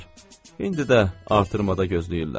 İndi də artırmada gözləyirlər.